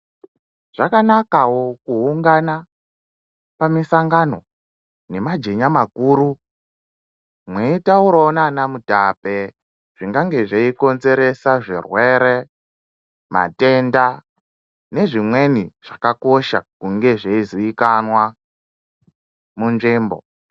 Zvakanakavo kuungana pamusangano nemajenya makuru meitauravo nana mutape. Zvingange zveikonzeresa zvirwere, matenda nezvimweni zvakakosha kunge zveiziikanwa munzvimbo.